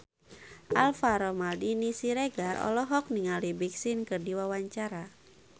Alvaro Maldini Siregar olohok ningali Big Sean keur diwawancara